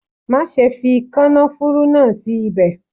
Má ṣe fi kànáfùrú náà sí ibẹ̀.